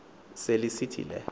se lisithi le